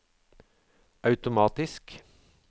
automatisk